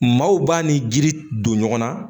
Maaw b'a ni jiri don ɲɔgɔn na